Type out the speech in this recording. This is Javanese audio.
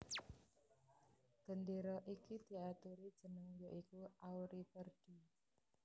Gendéra iki diaturi jeneng ya iku Auriverde